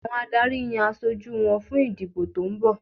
Àwọn adarí yan aṣojú wọn fún ìdìbò tó ń bọ̀